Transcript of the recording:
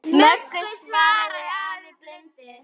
Möggu, svaraði afi blindi.